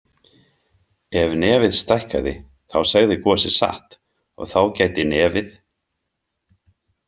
Ef nefið stækkaði þá segði Gosi satt og þá gæti nefið.